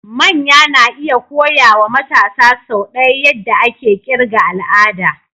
Manya na iya koya wa matasa sau ɗaya yadda ake ƙirga al'ada.